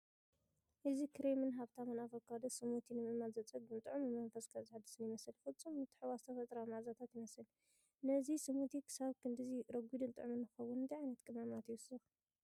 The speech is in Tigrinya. እዚ ክሬምን ሃብታምን ኣቮካዶ ስሙቲ ንምእማኑ ዘጸግም ጥዑምን መንፈስካ ዘሐድስን ይመስል! ፍጹም ምትሕውዋስ ተፈጥሮኣዊ መኣዛታት ይመስል። ነዚ ስሙቲ ክሳብ ክንድዚ ረጒድን ጥዑምን ንኽኸውን እንታይ ዓይነት ቀመማት ይውሰኽ?